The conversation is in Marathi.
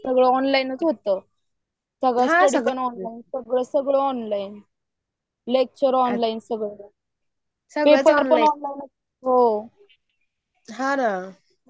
सगळं ऑनलाइनच होतं. सगळं , सगळं ऑनलाईन लेक्चर ऑनलाईन सगळं. हो हान ना